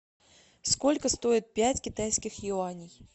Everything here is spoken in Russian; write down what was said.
сколько стоит пять китайских юаней